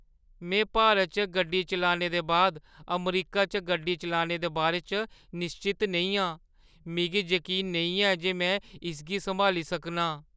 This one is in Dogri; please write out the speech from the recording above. में भारत च गड्डी चलाने दे बाद अमरीका च गड्डी चलाने दे बारे च निश्चत नेईं आं। मिगी जकीन नेईं ऐ जे में इसगी सम्हाली सकनां।